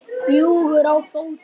Bjúgur á fótum.